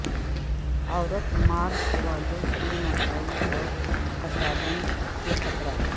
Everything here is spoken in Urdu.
عورت مارچ والوں کے مسائل اور تصادم کے خطرات